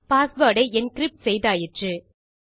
password ஐ encrypt செய்தாயிற்று